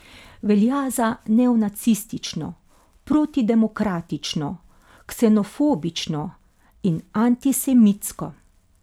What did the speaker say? Velja za neonacistično, protidemokratično, ksenofobično in antisemitsko.